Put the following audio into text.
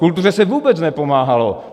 Kultuře se vůbec nepomáhalo.